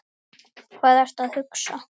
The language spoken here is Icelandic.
Hvað ertu að hugsa?